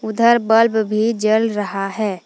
उधर बल्व भी जल रहा है।